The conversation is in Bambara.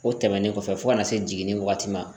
O tɛmɛnen kɔfɛ fo kana se jiginni wagati ma